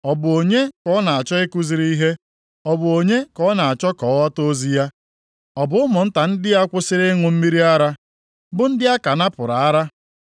“Ọ bụ onye ka ọ na-achọ ikuziri ihe? Ọ bụ onye ka ọ na-achọ ka ọ ghọta ozi ya? Ọ bụ ụmụnta ndị a kwusịrị ịṅụ mmiri ara, bụ ndị a ka napụrụ ara?